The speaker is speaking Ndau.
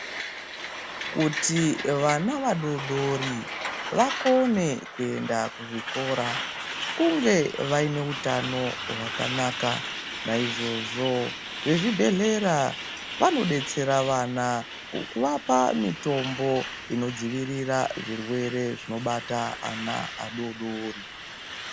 Kuti vana vadoodori vakone kuenda kuzvikora kunge vaine hutano hwakanaka naizvozvo vezvibhedhlera vanodetsera vana kuvapa mitombo inodzivirira zvirwere zvinobata ana adoodori.